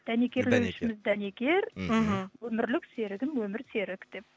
дәнекер дәнекер мхм өмірлік серігім өмірсерік деп